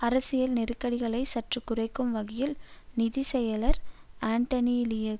அரசியல் நெருக்கடிகளைச் சற்று குறைக்கும் வகையில் நிதி செயலர் அன்டனி லியுங்கும்